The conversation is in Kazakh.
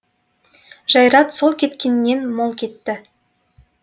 жайрат сол кеткеннен мол кетті